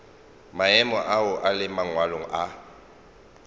maemo ao le mangwalo a